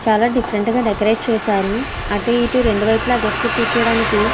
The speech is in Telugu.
చాలా డిఫరెంట్గా డెకరేట్ చేసారు. అటు ఇటు రెండు వైపులా గెస్ట్లు కూర్చోవడానికి --